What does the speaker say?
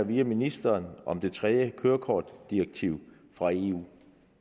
vide af ministeren om det tredje kørekortdirektiv fra eu